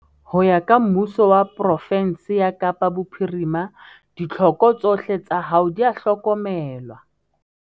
Ho ya ka Mmuso wa pro-fensi ya Kapa Bophirima, ditlhoko tsohle tsa hao di a hlokomelwa.